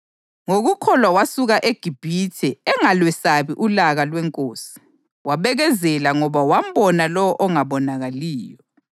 Ngokukholwa wasuka eGibhithe, engalwesabi ulaka lwenkosi; wabekezela ngoba wambona lowo ongabonakaliyo.